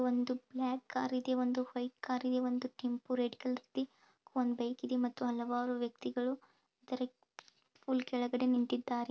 ಒಂದು ಬ್ಲಾಕ್ ಕಾರಿ ದೆ ಒಂದು ವೈಟ್ ಕಾರಿ ದೆ ಒಂದು ಕೆಂಪು ರೆಡ್ ಕಲರ್ ಒಂದು ಬೈಕ್ ಇದೆ ಮತ್ತು ಹಲವಾರು ವ್ಯಕ್ತಿಗಳು ಕೆಳಗಡೆ ನಿಂತಿದ್ದಾರೆ.